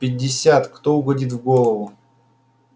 пятьдесят кто угодит в голову